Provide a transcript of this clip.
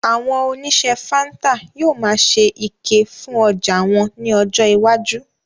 Àwọn oníṣe fáńtà yóò máa ṣe ike fún ọjà wọn ní ọjọ iwájú